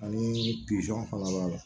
Ani fana b'a la